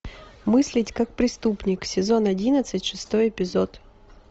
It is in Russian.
мыслить как преступник сезон одиннадцать шестой эпизод